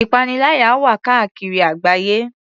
Ìpaniláyà wà káàkiri àgbáyé.